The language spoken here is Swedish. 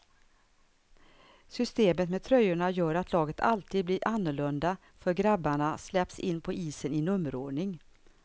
Systemet med tröjorna gör att laget alltid blir annorlunda för grabbarna släpps in på isen i nummerordning.